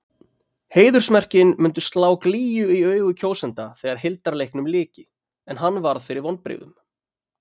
Heiðursmerkin myndu slá glýju í augu kjósenda þegar hildarleiknum lyki- en hann varð fyrir vonbrigðum.